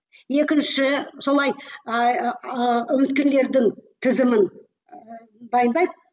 екінші солай ыыы үміткерлердің тізімін ііі дайындайды